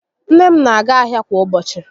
Nne m n'aga ahịa kwa ụbọchị